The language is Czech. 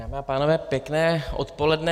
Dámy a pánové, pěkné odpoledne.